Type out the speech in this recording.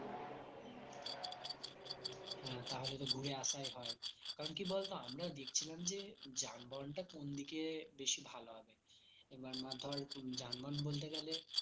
হ্যাঁ তাহলে তো ঘুরে আসাই হয় কারণ কি বলতো আমরা দেখছিলাম যে যানবাহনটা কোন দিকে বেশি ভালো হবে এবার না ধর যানবাহন বলতে গেলে